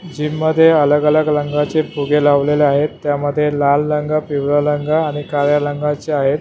Gym मध्ये अलग अलग रंगाचे फुगे लावलेले आहेत त्यामध्ये लाल रंग पिवळा रंग आणि काळ्या रंगाचे आहेत.